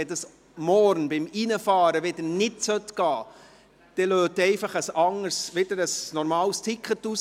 Sollte dies morgen beim Hineinfahren wieder nicht funktionieren, dann drücken Sie für ein neues Ticket.